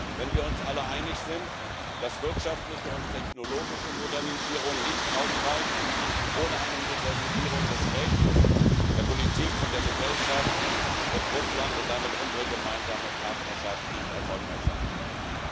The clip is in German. Wenn wir uns alle einig sind, dass wirtschaftliche und technologische Modernisierung nicht ausreichen ohne eine Modernisierung des Rechts, der Politik und der Gesellschaft, wird Russland, und damit unsere gemeinsame Partnerschaft, nicht erfolgreich sein können.